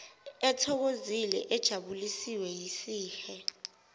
ethokozile ejabuliswe yisihe